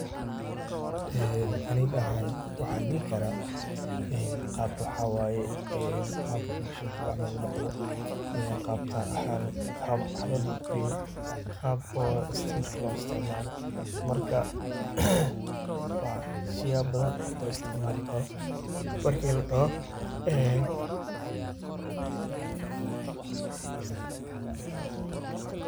Aniga waxan dihi kara qab waxa waye, qab mashinta camal darka lagudaqdo, qab tar ahan, qab ?waxlagiliyo, qab oo stimerka lo istimcalom, marka wasiyaba badhan oo loisticmali kara marki ladaho enn.